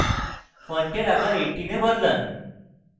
ফন্টের আকার 18 এ বদলান